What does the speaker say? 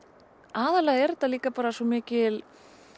aðallega er þetta líka bara svo mikil